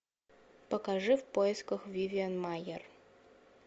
покажи в поисках вивиан майер